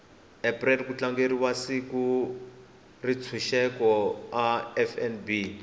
april kutlangeriwa siku rentshuseko a fnb